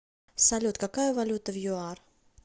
салют какая валюта в юар